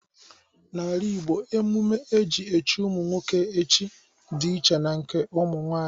N’ala Igbo, emume e ji echi ụmụ nwoke echi dị iche na nke ụmụ nwanyị.